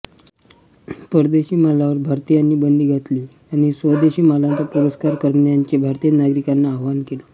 परदेशी मालावर भारतीयांनी बंदी घातली आणि स्वदेशी मालाचा पुरस्कार करण्याचे भारतीय नागरिकांना आवाहन केले